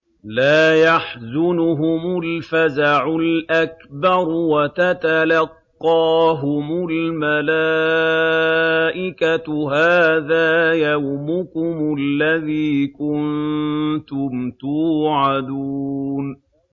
لَا يَحْزُنُهُمُ الْفَزَعُ الْأَكْبَرُ وَتَتَلَقَّاهُمُ الْمَلَائِكَةُ هَٰذَا يَوْمُكُمُ الَّذِي كُنتُمْ تُوعَدُونَ